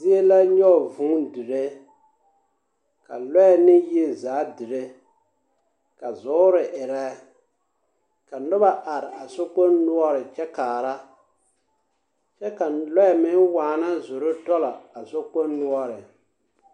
Zie la nyͻge vũũ dire, ka lͻԑ ne yie zaa dire, ka zoore erԑ. Ka noba are a sokpoŋ noͻre kyԑ kaara kyԑ ka lͻԑ meŋ waana zoro tͻlͻ a sokpoŋ noͻre.